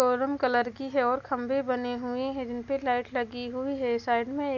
showroom colour की है और खंभे बने हुए हैं जिन पे लाइट लगी हुई है साइड में--